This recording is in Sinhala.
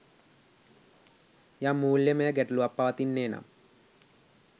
යම් මූල්‍යමය ගැටලුවක් පවතින්නේනම්